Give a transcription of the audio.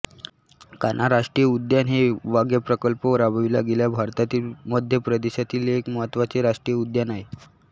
कान्हा राष्ट्रीय उद्यान हे व्याघ्रप्रकल्प राबविला गेलेले भारतातील मध्य प्रदेशातील एक महत्त्वाचे राष्ट्रीय उद्यान आहे